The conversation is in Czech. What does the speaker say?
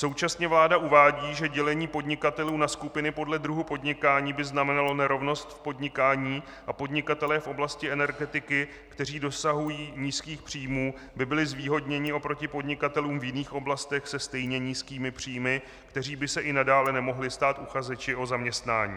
Současně vláda uvádí, že dělení podnikatelů na skupiny podle druhu podnikání by znamenalo nerovnost v podnikání a podnikatelé v oblasti energetiky, kteří dosahují nízkých příjmů, by byli zvýhodněni oproti podnikatelům v jiných oblastech se stejně nízkými příjmy, kteří by se i nadále nemohli stát uchazeči o zaměstnání.